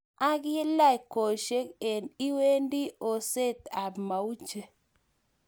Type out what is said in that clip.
Akilaj kwoshek een iniwendi Oset ab mauche